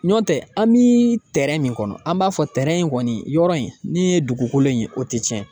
N'o tɛ an bi min kɔnɔ an b'a fɔ in kɔni yɔrɔ in, n'i ye dugukolo in o tɛ tiɲɛ